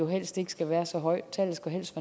helst ikke skal være så højt tallet skal helst